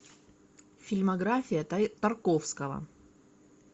фильмография тарковского